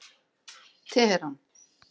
Teheran